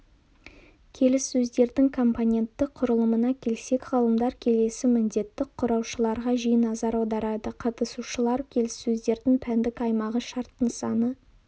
келіссөздердің компонентті құрылымына келсек ғалымдар келесі міндетті құраушыларға жиі назар аударады қатысушылар келіссөздердің пәндік аймағы шарт нысаны